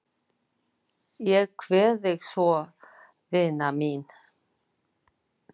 Ég kveð þig svo vina mín.